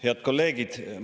Head kolleegid!